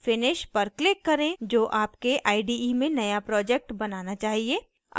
finish पर click करें जो आपके ide में नया project बनाना चाहिए